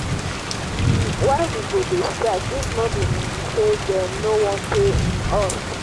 um why we go dey strike if no be um say dey no wan pay um us